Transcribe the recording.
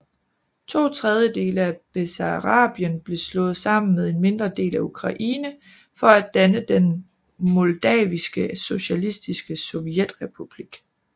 To tredjedele af Bessarabien blev slået sammen med en mindre del af Ukraine for at danne Den moldaviske socialistiske sovjetrepublik